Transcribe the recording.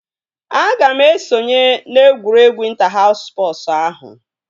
Aga m esonye na egwuregwu ịnta haus spọsu ahụ